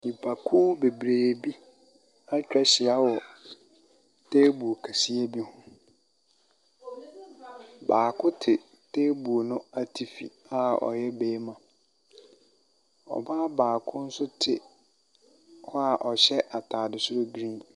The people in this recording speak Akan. Nnipakuo bebree bi etwa ahyia wɔ teebol kɛseɛ bi ho. Baako te teebol no atifi a ɔyɛ barima. Ɔbaa baako nso te hɔ a ɔhyɛ ataade soro griin.